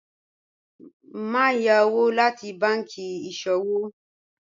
Maṣe yá owo lati bánkì iṣọwọ́